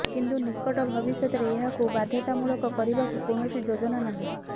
କିନ୍ତୁ ନିକଟ ଭବିଷ୍ୟତରେ ଏହାକୁ ବାଧ୍ୟତାମୂଳକ କରିବାକୁ କୌଣସି ଯୋଜନା ନାହିଁ